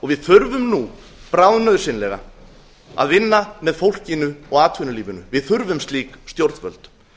við þurfum nú bráðnauðsynlega að vinna með fólkinu og atvinnulífinu við þurfum slík stjórnvöld